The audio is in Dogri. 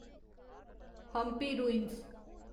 हम्पी रुइंस